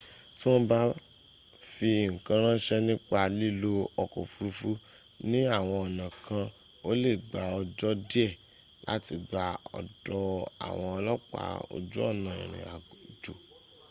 tí wọ́n bá fi ǹkan ránṣẹ́ nípa lílo ọkọ̀ òfurufú ní àwọn ọ̀nà kan o lè gbà ọjọ́ díẹ̀ láti gbà ọ̀dọ̀ àwọn ọlọ́pàá ojú ọ̀nà ìrìn àjò